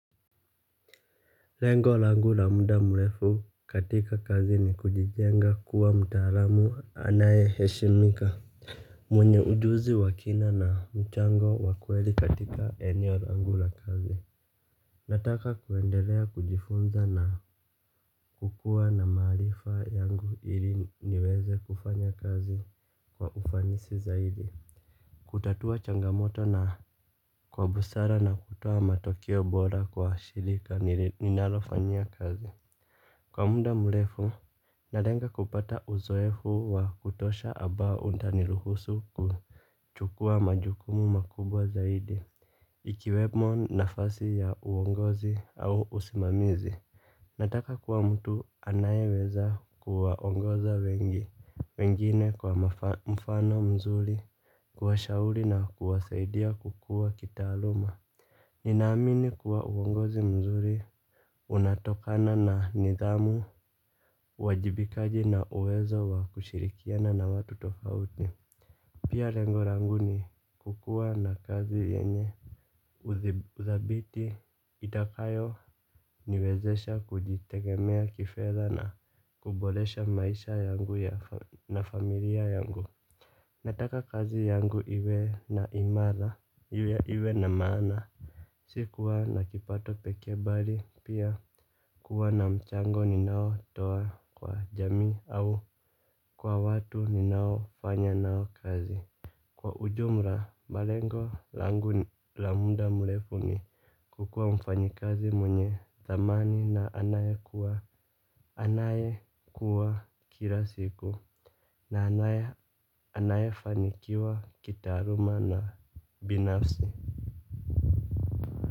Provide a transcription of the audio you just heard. Lengo langu la muda mrefu katika kazi ni kujijenga kuwa mtaalamu anayeheshimika. Mwenye ujuzi wa kina na mchango wa kweli katika eneo langu la kazi. Nataka kuendelea kujifunza na kukuwa na maarifa yangu ili niweze kufanya kazi kwa ufanisi zaidi. Kutatua changamoto na kwa busara na kutoa matokeo bora kwa shirika ninalofanyia kazi. Kwa muda mrefu, nalenga kupata uzoefu wa kutosha ambao utaniruhusu kuchukua majukumu makubwa zaidi, ikiwemo nafasi ya uongozi au usimamizi. Nataka kuwa mtu anayeweza kuwaongoza wengi, wengine kwa mfano mzuri, kuwashauri na kuwasaidia kukuwa kitaaluma. Nina amini kuwa uongozi mzuri unatokana na nidhamu uwajibikaji na uwezo wa kushirikiana na watu tofauti. Pia lengo langu ni kukuwa na kazi yenye udhabiti itakayoniwezesha kujitegemea kifedha na kuboresha maisha yangu na familia yangu. Nataka kazi yangu iwe na imara, iwe na maana. Si kuwa na kipato pekee bali pia kuwa na mchango ninaotoa kwa jamii au kwa watu ninaofanya nao kazi. Kwa ujumra malengo langu la muda mrefu ni kukuwa mfanyikazi mwenye thamani na anayekuwa anayekua kila siku na anaye anayefanikiwa kitaaluma na binafsi.